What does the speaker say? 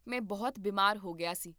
ਮੈਂ ਬਹੁਤ ਬੀਮਾਰ ਹੋ ਗਿਆ ਸੀ